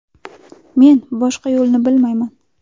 Men boshqa yo‘lni bilmayman.